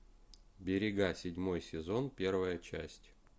берега седьмой сезон первая часть